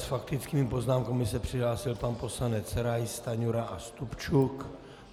S faktickými poznámkami se přihlásil pan poslanec Rais, Stanjura a Stupčuk.